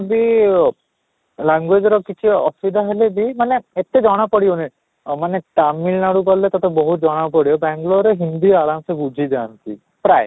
language ର କିଛି ଅସୁବିଧା ହେଲେ ବି ମାନେ ଏତେ ଜଣ ପଡ଼ିବନି ଅଃ ମାନେ ତାମିଲନାଡୁ ଗଲେ ତୋତେ ବହୁତ ଜଣ ପଡିବ ବାଙ୍ଗାଲୁରରେ ହିନ୍ଦୀ ଆରାମ ସେ ବୁଝି ଯାଆନ୍ତି ପ୍ରାୟ